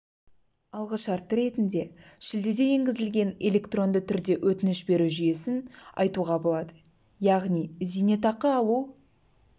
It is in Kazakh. алғы шарты ретінде шілдеде енгізілген электронды түрде өтініш беру жүйесін айтуға болады яғни зейнетақы алу